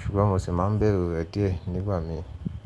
ṣùgbọ́n mo sì máa ń bẹ̀rù rẹ̀ díẹ̀ nígbà mí ì.